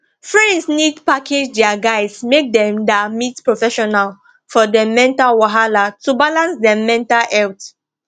friends need package dia guys make dem da meet professional for dem mental wahala to balance dem mental health